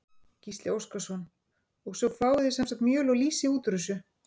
Gísli Óskarsson: Og svo fáið þið sem sagt mjöl og lýsi út úr þessu?